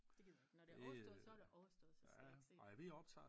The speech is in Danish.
Det gider jeg ikke når det er overstået så er det overstået så skal jeg ikke se det